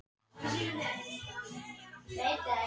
Þessi réttur á skilið að fá verðlaun fyrir einfaldleika.